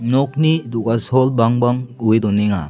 nokni do·gasol bangbang owe donenga.